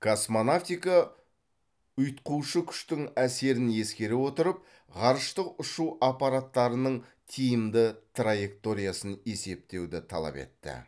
космонавтика ұйытқушы күштің әсерін ескере отырып ғарыштық ұшу аппараттарының тиімді траекториясын есептеуді талап етті